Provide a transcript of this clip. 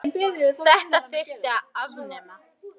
Þetta þyrfti að afnema.